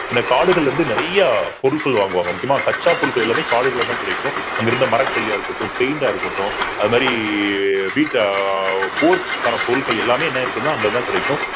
ஏன்னா காடுகள்ல இருந்து நிறைய பொருட்கள் வாங்குவாங்க முக்கியமாக கச்சா பொருட்கள் எல்லாமே காடுகளாகதான் கிடைக்கும் அங்கிருந்த மரக்கரியா இருக்கட்டும் paint ஆ இருக்கட்டும். அது மாறி வீட்டை போர்க்கான பொருட்கள் எல்லாமே என்ன ஆயிருக்குன்னா அங்கதான் கிடைக்கும்